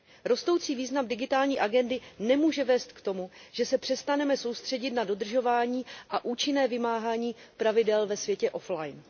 Rostoucí význam digitální agendy nemůže vést k tomu, že se přestaneme soustředit na dodržování a účinné vymáhání pravidel ve světě offline